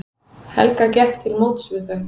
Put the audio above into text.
Helga gekk til móts við þau.